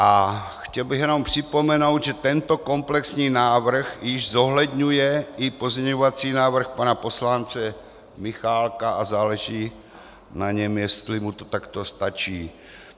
A chtěl bych jenom připomenout, že tento komplexní návrh již zohledňuje i pozměňovací návrh pana poslance Michálka a záleží na něm, jestli mu to takto stačí.